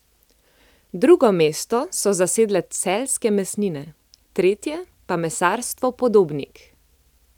Drugo mesto so zasedle Celjske mesnine, tretje pa Mesarstvo Podobnik.